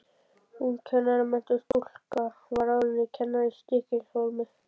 Ung kennaramenntuð stúlka var ráðin sem kennari í Stykkishólm.